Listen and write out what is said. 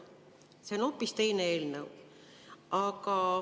See on hoopis teine eelnõu.